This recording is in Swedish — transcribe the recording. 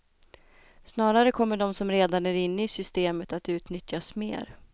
Snarare kommer de som redan är inne i systemet att utnyttjas mer.